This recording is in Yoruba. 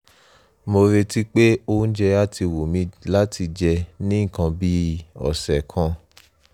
mo retí pé oúnjẹ á ti ti wù mí láti jẹ ní nǹkan bí ọ̀sẹ̀ kan